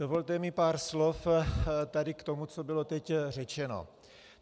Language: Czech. Dovolte mi pár slov tady k tomu, co bylo teď řečeno.